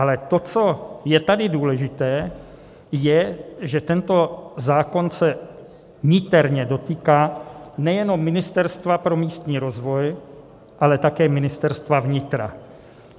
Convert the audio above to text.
Ale to, co je tady důležité, je, že tento zákon se niterně dotýká nejenom Ministerstva pro místní rozvoj, ale také Ministerstva vnitra.